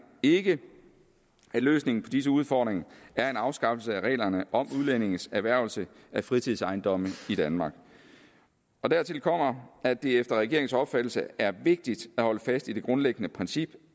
ikke at løsningen på disse udfordringer er en afskaffelse af reglerne om udlændinges erhvervelse af fritidsejendomme i danmark dertil kommer at det efter regeringens opfattelse er vigtigt at holde fast i det grundlæggende princip